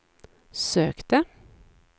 sökte